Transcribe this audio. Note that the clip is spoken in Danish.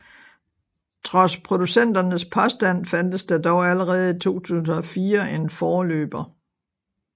Trods producenternes påstand fandtes der dog allerede i 2004 en forløber